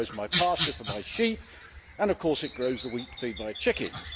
it grows my pasture for my sheep, and of course it grows the wheat to feed my chickens.